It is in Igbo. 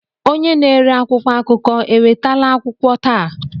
Onye na-ere akwụkwọ akụkọ ewetala akwụkwọ taa?